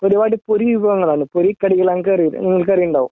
ഒരുപാട് പൊരി വിഭവങ്ങളാണ് പൊരി കടികളാണ് ഇങ്ങൾക്കറിയില്ലേ നിങ്ങൾക്കറിയുണ്ടാകും